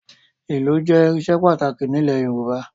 Ìlù jẹ́ irinṣẹ́ pàtàkì nílẹ̀ Yorùbá